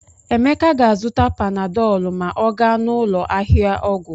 Emeka ga-azụta panadọlụ ma ọ gaa n'ụlọ ahịa ọgwụ.